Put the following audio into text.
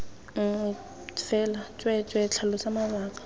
nngwe fela tsweetswee tlhalosa mabaka